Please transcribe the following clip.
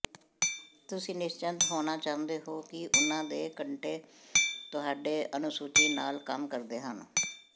ਤੁਸੀਂ ਨਿਸ਼ਚਤ ਹੋਣਾ ਚਾਹੁੰਦੇ ਹੋ ਕਿ ਉਨ੍ਹਾਂ ਦੇ ਘੰਟੇ ਤੁਹਾਡੇ ਅਨੁਸੂਚੀ ਨਾਲ ਕੰਮ ਕਰਦੇ ਹਨ